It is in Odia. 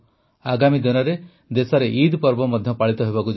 ଆଗାମୀ ଦିନରେ ଦେଶରେ ଇଦ ପର୍ବ ମଧ୍ୟ ପାଳିତ ହେବାକୁ ଯାଉଛି